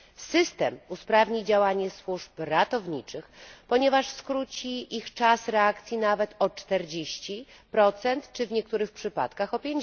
System usprawni działanie służb ratowniczych, ponieważ skróci ich czas reakcji nawet o 40, a w niektórych przypadkach o